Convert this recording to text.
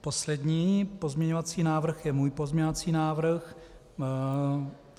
Poslední pozměňovací návrh je můj pozměňovací návrh.